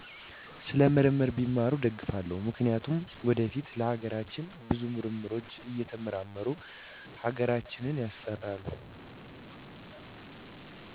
ስለ ምርምር ቢማሩ እደግፋለው ምክንያቱም ወደፊት ለሀገራችን ብዙ ምርምሮች እየተመራመሩ ሀገራተ ሀገራችን ያስጠራሉ